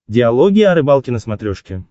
диалоги о рыбалке на смотрешке